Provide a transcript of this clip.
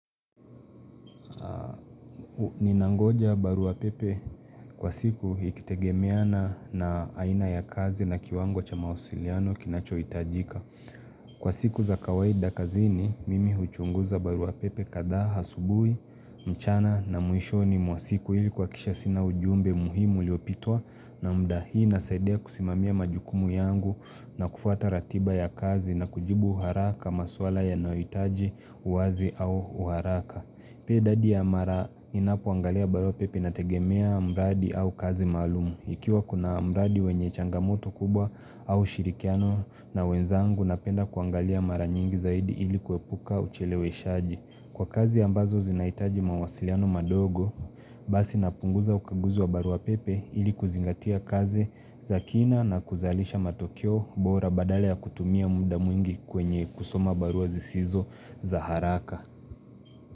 Ninangoja barua pepe kwa siku ikitegemea na aina ya kazi na kiwango cha mawasiliano kinachohitajika. Kwa siku za kawaida kazini, mimi huchunguza baruapepe kadhaa asubuhi, mchana na mwishoni mwa siku ili kuhakikisha sina ujumbe muhimu uliopitwa na mda hii inasaidia kusimamia majukumu yangu na kufwata ratiba ya kazi na kujibu haraka maswala yanayohitaji uwazi au haraka. Pia idadi ya mara ninapoangalia barua pepe inategemea mradi au kazi maalumu. Ikiwa kuna mradi wenye changamoto kubwa au shirikiano na wenzangu napenda kuangalia mara nyingi zaidi ili kuepuka ucheleweshaji. Kwa kazi ambazo zinahitaji mawasiliano madogo, basi napunguza ukaguzi wa barua pepe ili kuzingatia kazi za kina na kuzalisha matokeo bora badala ya kutumia muda mwingi kwenye kusoma barua zisizo za haraka.